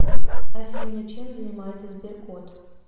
афина чем занимается сберкот